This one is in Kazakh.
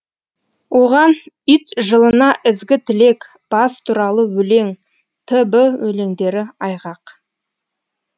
оған ит жылына ізгі тілек бас туралы өлең т б өлеңдері айғақ